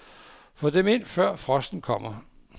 Få dem ind, før frosten kommer.